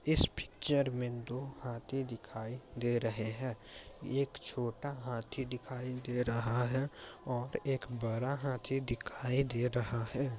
इस पिक्चर में दो हाथी दिखाई दे रहे हैं। एक छोटा हाथी दिखाई दे रहा है और एक बड़ा हाथी दिखाई दे रहा है।